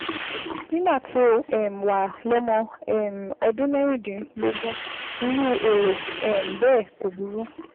Nígbà tó um o wà lọ́mọ um ọdún mẹ́rìndínlógún, irú èrò um bẹ́ẹ̀ kò burú